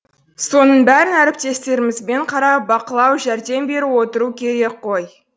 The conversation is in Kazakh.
соның бәрін әріптестерімізбен қарап бақылау жәрдем беріп отыру керек қой